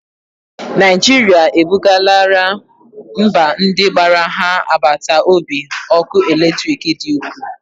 Naijirịa e bugarala mba ndị gbara ha agbata obi ọkụ eletriki dị ukwuu